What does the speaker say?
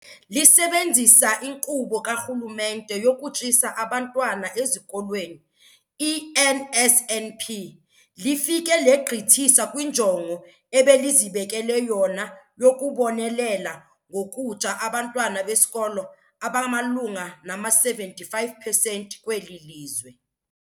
Lisebenzisa iNkqubo kaRhulumente yokuTyisa Abantwana Ezikolweni, i-NSNP, lifike legqithisa kwinjongo ebelizibekele yona yokubonelela ngokutya abantwana besikolo abamalunga nama-75 percent kweli lizwe.